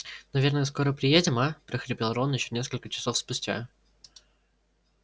наверное скоро приедем а прохрипел рон ещё несколько часов спустя